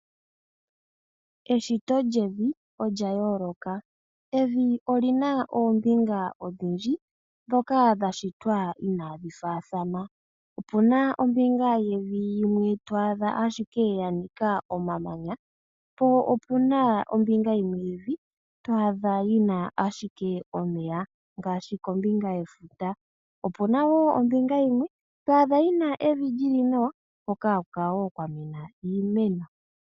Eshito lyevi olya yooloka. Evi oli na oombinga odhindji ndhoka dha shitwa inaadhi faathana. Opu na ombinga yimwe yevi to adha ashike ya nika omamanya, po opu na ombinga yimwe yevi to adha yi na ashike omeya ngaashi kombinga yefuta. Opu na wo ombinga yimwe to adha yi na evi li li nawa hoka haku kala kwa mena wo iimeno.